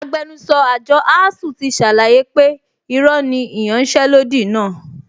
Agbẹnusọ àjọ ASUU ti ṣàlàyé pé irọ́ ni ìyanṣẹ́lódì náà